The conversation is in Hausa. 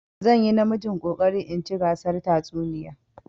Zan yi namijin ƙoƙarin in ci gasar tatsuniya.